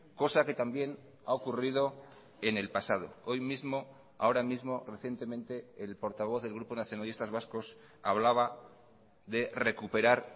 cosa que también ha ocurrido en el pasado hoy mismo ahora mismo recientemente el portavoz del grupo nacionalistas vascos hablaba de recuperar